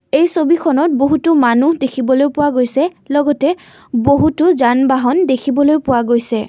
এই ছবিখনত বহুতো মানুহ দেখিবলৈ পোৱা গৈছে লগতে বহুতো যান বাহন দেখিবলৈ পোৱা গৈছে।